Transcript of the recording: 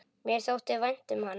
Mér þótti vænt um hana.